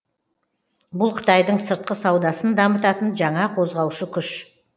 бұл қытайдың сыртқы саудасын дамытатын жаңа қозғаушы күш